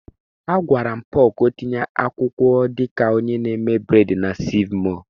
Agwara m Paul ka o tinye akwụkwọ dị ka onye na-eme bred na Seev mọọ.